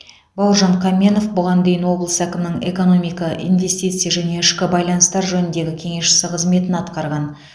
бауыржан қаменов бұған дейін облыс әкімінің экономика инвестиция және ішкі байланыстар жөніндегі кеңесшісі қызметін атқарған